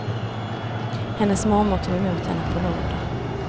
Hennes mormor tog emot henne på nåder.